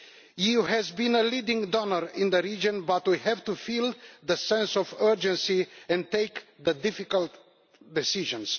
The EU has been a leading donor in the region, but we have to feel the sense of urgency and take difficult decisions.